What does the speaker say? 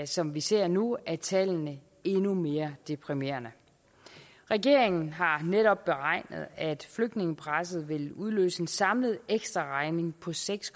som vi ser nu at tallene endnu mere deprimerende regeringen har netop beregnet at flygtningepresset vil udløse en samlet ekstraregning på seks